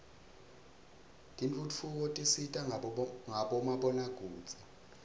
tentfutfuko tisita ngabomabonakudze